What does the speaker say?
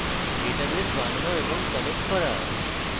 database বানানো এবং connecting করা